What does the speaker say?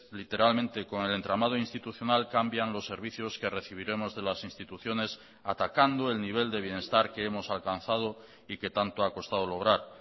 literalmente con el entramado institucional cambian los servicios que recibiremos de las instituciones atacando el nivel de bienestar que hemos alcanzado y que tanto ha costado lograr